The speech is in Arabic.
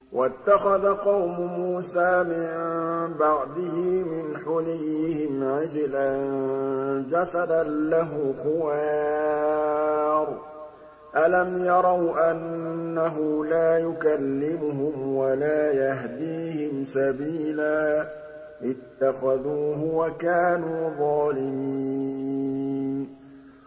وَاتَّخَذَ قَوْمُ مُوسَىٰ مِن بَعْدِهِ مِنْ حُلِيِّهِمْ عِجْلًا جَسَدًا لَّهُ خُوَارٌ ۚ أَلَمْ يَرَوْا أَنَّهُ لَا يُكَلِّمُهُمْ وَلَا يَهْدِيهِمْ سَبِيلًا ۘ اتَّخَذُوهُ وَكَانُوا ظَالِمِينَ